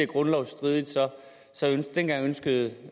grundlovsstridigt ønskede